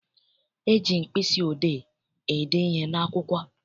E ji mkpịsị odee ede ihe n'akwụkwọ.